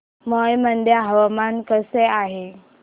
मौ मध्ये हवामान कसे आहे